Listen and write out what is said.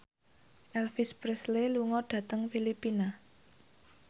Elvis Presley lunga dhateng Filipina